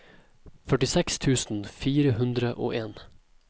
førtiseks tusen fire hundre og en